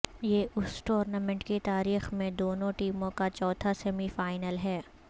یہ اس ٹورنامنٹ کی تاریخ میں دونوں ٹیموں کا چوتھا سیمی فائنل ہے